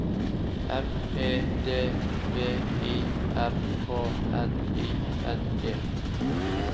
M E D V I R K N I N G